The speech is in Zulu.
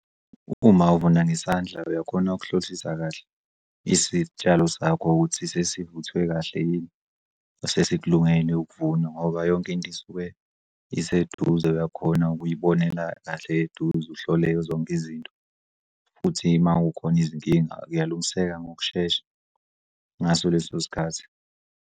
Uma uvuna ngesandla uyakhona ukuhlolisisa kahle isitshalo sakho ukuthi sesivuthwe kahle yini, sesikulungele ukuvunwa ngoba yonkinto isuke iseduze uyakhona ukuyibonela kahle eduze uhlole zonke izinto futhi uma kukhona izinkinga kuyalungiseka ngokushesha, ngaso leso sikhathi.